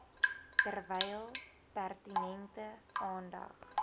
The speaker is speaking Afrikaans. terwyl pertinente aandag